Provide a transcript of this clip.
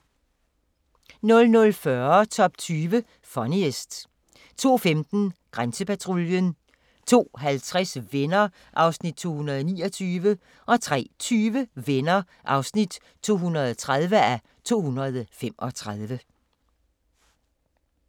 00:40: Top 20 Funniest 02:15: Grænsepatruljen 02:50: Venner (229:235) 03:20: Venner (230:235)